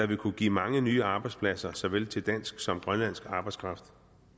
vil kunne give mange nye arbejdspladser til såvel dansk som grønlandsk arbejdskraft